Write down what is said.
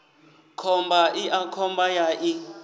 khomba iḽa khomba ya ḓi